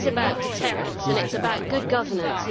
It is about deterrence and it is about good governance